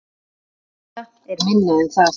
Þetta er minna en það